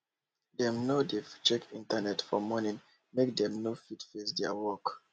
dem nor dey check internet for morning make dem for fit face their work